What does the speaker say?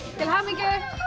til hamingju